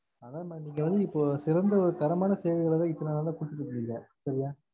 அத maam இத வந்து இப்போ சிறந்த தரமான சேவை தா இத்தன நாலா குடுத்துகிட்டு இருந்த சரியா